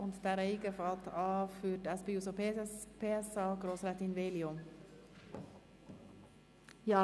Zuerst hat Grossrätin Veglio für die SP-JUSO-PSA-Fraktion das Wort.